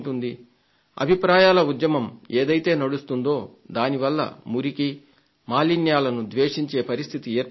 అభిప్రాయాల ఉద్యమం ఏదైతే నడుస్తోందో దానివల్ల మురికి మాలిన్యాలను ద్వేషించే పరిస్థితి ఏర్పడుతోంది